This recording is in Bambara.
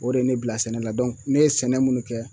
O de ye ne bila sɛnɛ la ne ye sɛnɛ minnu kɛ